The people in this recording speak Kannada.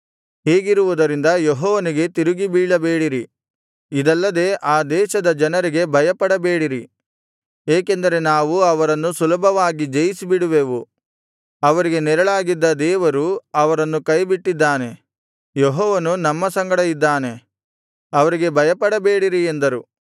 ಹೀಗಿರುವುದರಿಂದ ಯೆಹೋವನಿಗೆ ತಿರುಗಿಬೀಳಬೇಡಿರಿ ಇದಲ್ಲದೆ ಆ ದೇಶದ ಜನರಿಗೆ ಭಯಪಡಬೇಡಿರಿ ಏಕೆಂದರೆ ನಾವು ಅವರನ್ನು ಸುಲಭವಾಗಿ ಜಯಿಸಿಬಿಡುವೆವು ಅವರಿಗೆ ನೆರಳಾಗಿದ್ದ ದೇವರು ಅವರನ್ನು ಕೈಬಿಟ್ಟಿದ್ದಾನೆ ಯೆಹೋವನು ನಮ್ಮ ಸಂಗಡ ಇದ್ದಾನೆ ಅವರಿಗೆ ಭಯಪಡಬೇಡಿರಿ ಎಂದರು